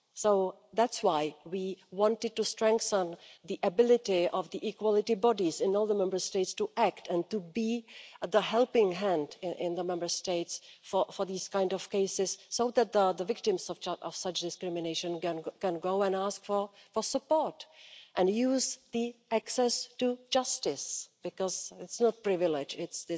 So that's why we wanted to strengthen the ability of the equality bodies in all the Member States to act, and to be the helping hand in the Member States for these kind of cases so that the victims of such discrimination can go and ask for support and use access to justice, because it's not a privilege, it's